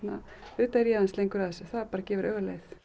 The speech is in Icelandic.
auðvitað er ég aðeins lengur að þessu það bara gefur auga leið